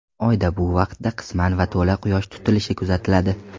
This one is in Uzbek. Oyda bu vaqtda qisman va to‘la quyosh tutilishi kuzatiladi.